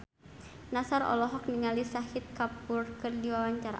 Nassar olohok ningali Shahid Kapoor keur diwawancara